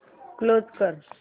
close कर